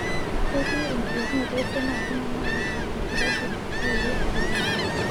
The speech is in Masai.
Ketii enkilepunoto esiana ooltung'ana oota olkirobi lre korona.